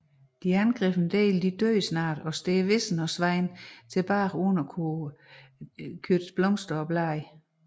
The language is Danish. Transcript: De angrebne dele dør snart og står visne og svedne tilbage uden at kunne kaste blomster og blade